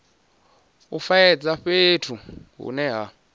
u faedza fhethu hune ha